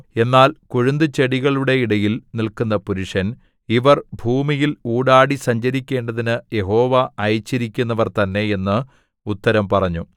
എന്നാൽ കൊഴുന്തുചെടികളുടെ ഇടയിൽ നില്ക്കുന്ന പുരുഷൻ ഇവർ ഭൂമിയിൽ ഊടാടി സഞ്ചരിക്കേണ്ടതിനു യഹോവ അയച്ചിരിക്കുന്നവർ തന്നെ എന്ന് ഉത്തരം പറഞ്ഞു